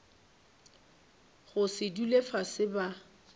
go se dule fase ba